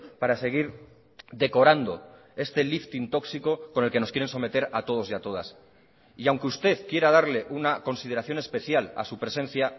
para seguir decorando este lifting tóxico con el que nos quieren someter a todos y a todas y aunque usted quiera darle una consideración especial a su presencia